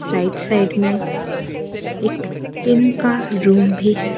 Right side मे एक tin का रूम भी है।